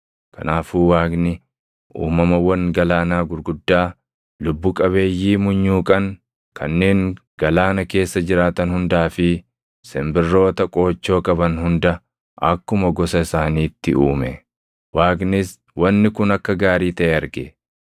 Kanaafuu Waaqni uumamawwan galaanaa gurguddaa, lubbu qabeeyyii munyuuqan kanneen galaana keessa jiraatan hundaa fi simbirroota qoochoo qaban hunda akkuma gosa isaaniitti uume. Waaqnis wanni kun akka gaarii taʼe arge.